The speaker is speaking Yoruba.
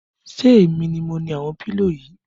Ṣé èmi ni mo ni àwọn pílò yìí?